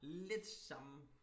Lidt samme